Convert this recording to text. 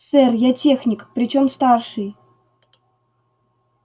сэр я техник причём старший